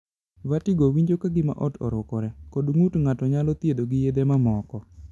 Vertigo (winjo ka gima ot orukore) kod ng'ut ng'ato nyalo thiedho gi yedhe mamoko.